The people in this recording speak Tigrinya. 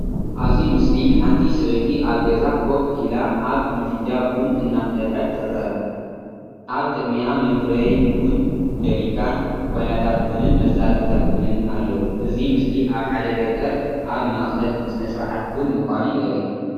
ኣብዚ ምስሊ ሓንቲ ሰበይቲ ኣብ ገዛ ኮፍ ኢላ ኣብ ምድጃ ቡን እናፍለሐት ትርአ። ኣብ ቅድሚኣ መፍረዪ ቡን፡ ጀርካን፡ ኩባያታት ቡንን መሳርሒታት ቡንን ኣለዉ። እዚ ምስሊ ኣብ ሓደ ገጠር ኣብ ማእከል ስነ-ስርዓት ቡን ምዃኑ የርኢ።